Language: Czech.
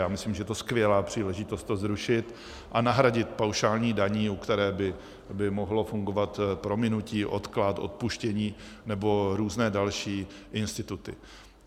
Já myslím, že je to skvělá příležitost to zrušit a nahradit paušální daní, u které by mohlo fungovat prominutí, odklad, odpuštění nebo různé další instituty.